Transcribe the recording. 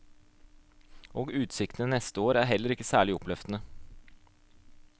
Og utsiktene neste år er heller ikke særlig oppløftende.